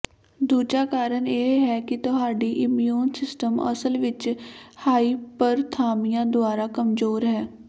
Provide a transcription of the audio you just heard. ਦੂਜਾ ਕਾਰਨ ਇਹ ਹੈ ਕਿ ਤੁਹਾਡੀ ਇਮਿਊਨ ਸਿਸਟਮ ਅਸਲ ਵਿੱਚ ਹਾਈਪਰਥਾਮਿਆ ਦੁਆਰਾ ਕਮਜੋਰ ਹੈ